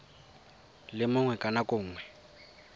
le mongwe ka nako nngwe